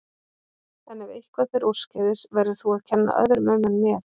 En ef eitthvað fer úrskeiðis verður þú að kenna öðrum um en mér.